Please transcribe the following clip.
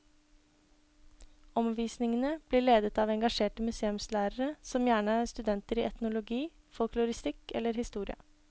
Omvisningene blir ledet av engasjerte museumslærere, som gjerne er studenter i etnologi, folkloristikk eller historie.